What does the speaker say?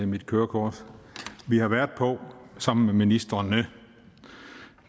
mit kørekort vi har været på sammen med ministrene